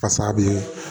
Pasa a bɛ